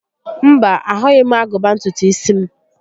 Mba, ahụghị m agụba ntutu isi m